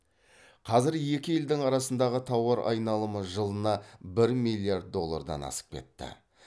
қазір екі елдің арасындағы тауар айналымы жылына бір миллиард доллардан асып кетті